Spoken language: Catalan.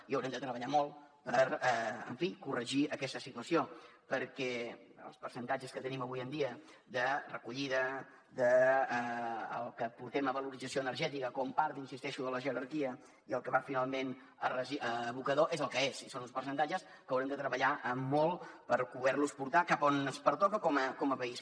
i haurem de treballar molt per en fi corregir aquesta situació perquè els percentatges que tenim avui en dia de recollida del que portem a valoració energètica com a part hi insisteixo de la jerarquia i el que va finalment a abocador són els que són i són uns percentatges que haurem de treballar molt per poder los portar cap a on ens pertoca com a país